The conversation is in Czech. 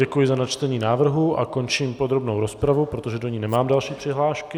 Děkuji za načtení návrhu a končím podrobnou rozpravu, protože do ní nemám další přihlášky.